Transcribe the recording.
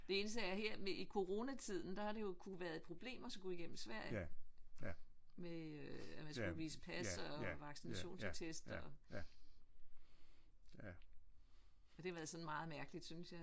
Det eneste er at her med i coronatiden der har det jo kunnet været et problem at skulle igennem Sverige med at man skulle vise pas og vaccinationstest og det har været sådan meget mærkeligt synes jeg